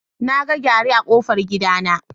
Naga gyare a kofar gidana.